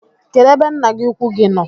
Kedụ ebe nna gi ukwu gi nọ?